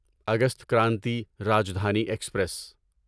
August Kranti Rajdhani express